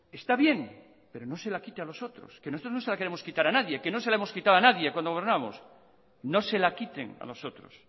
está bien pero no se la quite a los otros nosotros no se la queremos quitar a nadie que no se la hemos quitado a nadie cuando gobernábamos no se la quiten a los otros